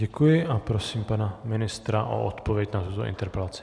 Děkuji a prosím pana ministra o odpověď na tuto interpelaci.